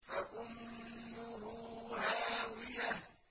فَأُمُّهُ هَاوِيَةٌ